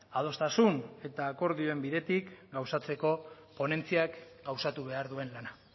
adostasun eta akordioen bidetik gauzatzeko ponentziak gauzatu behar duen lana